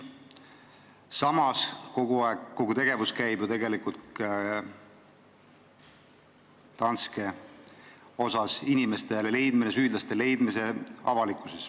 Samas, kogu tegevus käib ju tegelikult Danske ümber: soovitakse leida süüdlased.